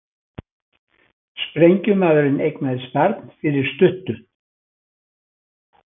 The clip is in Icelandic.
Sprengjumaðurinn eignaðist barn fyrir stuttu